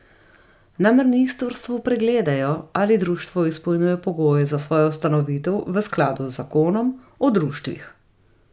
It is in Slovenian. Na ministrstvu pregledajo, ali društvo izpolnjuje pogoje za svojo ustanovitev v skladu z zakonom o društvih.